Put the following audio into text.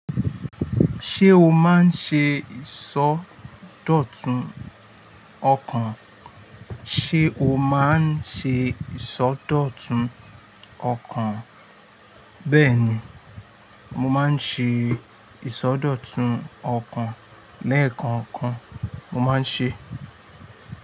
Ṣé o máa ń ṣe ìsọ́dọ̀tun ọkàn? Ṣé o máa ń ṣe ìsọ́dọ̀tun ọkàn? Bẹ́ẹ̀ ni, mo máa ń ṣe ìsọ́dọ̀tun ọkàn. Lẹ́ẹ̀kan kàn mo máa ń ṣe.